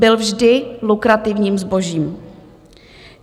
Byl vždy lukrativním zbožím.